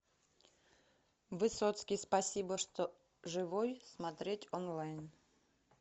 высоцкий спасибо что живой смотреть онлайн